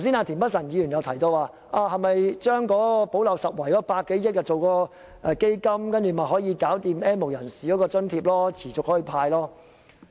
田北辰議員剛才提到，把用在"補漏拾遺"的100多億元成立基金，便可持續向 "N 無人士"派發現金津貼。